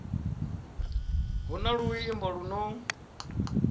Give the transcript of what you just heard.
hu na luimbo lu no